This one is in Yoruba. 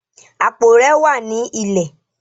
Apó rẹ wà ni ilẹ.